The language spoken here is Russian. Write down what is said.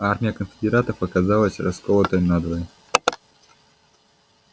армия конфедератов оказалась расколотой надвое